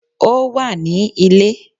Ó wà ní Ilé